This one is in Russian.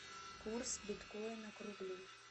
курс биткоина к рублю